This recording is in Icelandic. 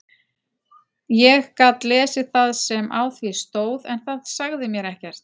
Ég gat lesið það sem á því stóð en það sagði mér ekkert.